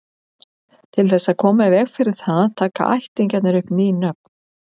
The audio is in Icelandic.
Til þess að koma í veg fyrir það taka ættingjarnir upp ný nöfn.